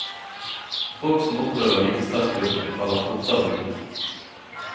Folk som opplever lite stress på jobben, faller fortere ut.